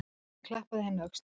Hann klappaði henni á öxlina.